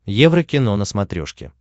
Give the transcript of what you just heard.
еврокино на смотрешке